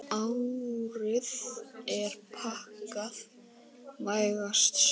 Árið er pakkað, vægast sagt.